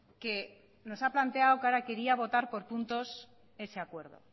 que nos ha planteado que ahora quería votar por ese acuerdo